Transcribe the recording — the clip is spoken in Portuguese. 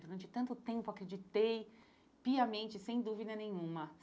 Durante tanto tempo acreditei piamente, sem dúvida nenhuma.